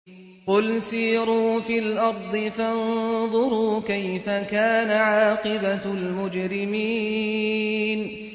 قُلْ سِيرُوا فِي الْأَرْضِ فَانظُرُوا كَيْفَ كَانَ عَاقِبَةُ الْمُجْرِمِينَ